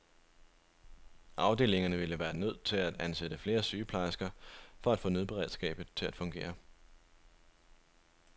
Afdelingerne ville være nødt til at ansætte flere sygeplejersker for at få nødberedskabet til at fungere.